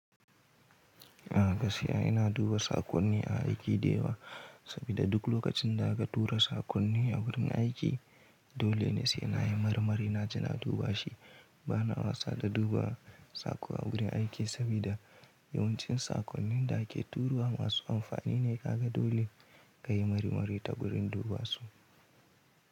A gaskiya ina duba saƙonni a aiki da yawa sabida duk lokacin da aka tura saƙonni a wurin aiki, dole ne sai na yi marmari na je na duba shi. Ba na wasa da duba saƙo a wurin aiki sabida yawancin saƙonnin da ake turowa masu amfani ne. Kaga dole kayi marmari ta gurin duba su.